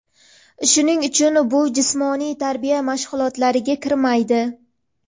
Shuning uchun bu jismoniy tarbiya mashg‘ulotlariga kirmaydi.